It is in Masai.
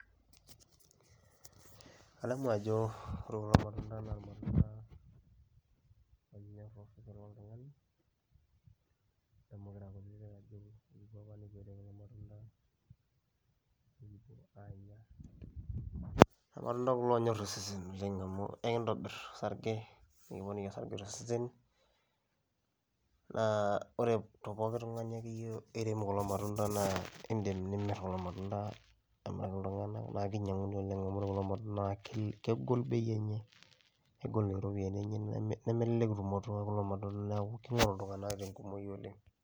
Adamu ajo ore kulo matunda naa irmatunda loonyor osesen loltung'ani, adamu kira kutitik ajo kipuo apa nekipuo aitayu kulo matunda nekipuo aanya. Irmatunda kulo oonyor osesen oleng' amu ekintobir osarge nekiponiki osarge to sesen naa ore te pooki tung'ani akeyie oirem kulo matunda naa iindim nimir kulo matunda amiraki iltung'anak naa kinyang'uni oleng' amu ore kulo matunda naa kegol bei enye, kegol iropiani enye neme nemelelek tumoto ee kulo matunda , neeku king'oru iltung'anak te nkumoi oleng'.